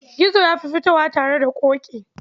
Gizo ya fi fitowa tare da Ƙoƙi.